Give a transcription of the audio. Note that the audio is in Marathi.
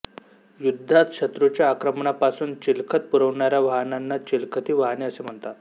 युद्धात शत्रूच्या आक्रमणापासून चिलखत पुरवणाऱ्या वाहनांना चिलखती वाहने असे म्हणतात